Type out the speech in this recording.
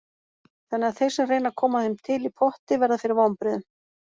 Þannig að þeir sem reyna að koma þeim til í potti verða fyrir vonbrigðum.